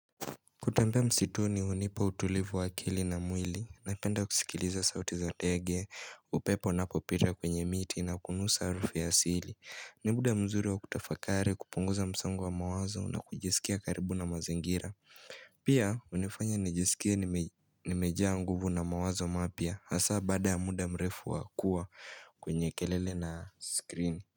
Kutempea msitu ni unipa utulivu wakili na mwili, napenda kusikiliza sauti za tege, upepo na popira kwenye miti na kunusa arufu ya sili. Nimuda mzuri wa kutafakari kupunguza msangu wa mawazo na kujisikia karibu na mazengira. Pia unifanya nijisikia nimejaa nguvu na mawazo mapia, hasa bada ya muda mrefu wakua kwenye kelele na screen.